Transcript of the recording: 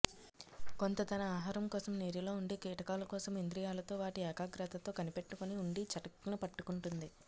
కొంత తన ఆహారం కోసం నీటిలో ఉండి కీటకాల కోసం ఇంద్రియాలతో వాటి ఏకాగ్రతతో కనిపెట్టుకుని ఉండి చటుక్కున పట్టుకుంటుంది